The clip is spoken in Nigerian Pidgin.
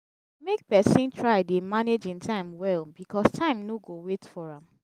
mek pesin try dey manage im time well bikos time no go wait for am